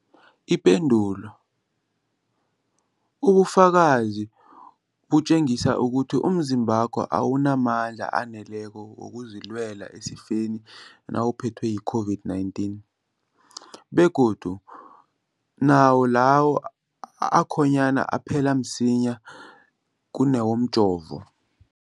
Ipendulo, ubufakazi butjengisa ukuthi umzimbakho awunamandla aneleko wokuzilwela esifeni nawuphethwe yi-COVID-19, begodu nawo lawo akhonyana aphela msinyana kunawomjovo.